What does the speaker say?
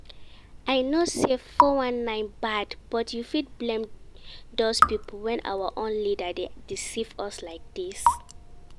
I know say 419 bad, but you fit blame doz people when our own leaders dey deceive us like dis?